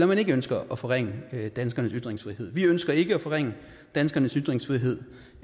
man ikke ønsker at forringe danskernes ytringsfrihed vi ønsker ikke at forringe danskernes ytringsfrihed